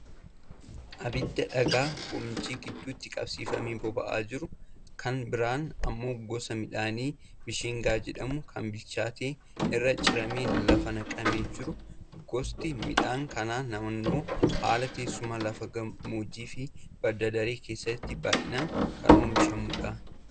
Abidda dhagaa gomjii gidduutti qabsiifamee boba'aa jiru. Kan biraan ammoo gosa midhaanii bishingaa jedhamu kan bilchaatee irraa ciramee lafa naqamee jiru. Gosti midhaan kanaa naannoo haala teessuma lafa gammoojjii fi badda daree keessatti baay'inaan kan oomishamudha.